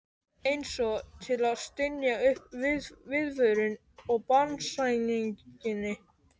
Einsog til að stynja upp viðvörun á banasænginni.